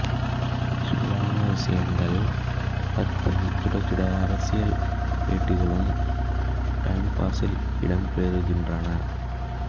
சூடான விஷயங்கள் பத்தி சுடச்சுட அரசியல் பேட்டிகளும் டைம்பாஸில் இடம்பெறுகின்றன